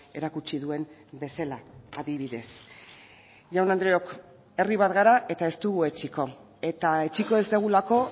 erakutsi duen bezala adibidez jaun andreok herri bat gara eta ez dugu etsiko eta etsiko ez dugulako